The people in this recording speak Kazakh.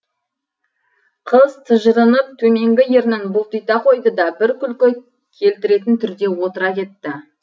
қыз тыжырынып төменгі ернін бұлтита қойды да бір күлкі келтіретін түрде отыра кетті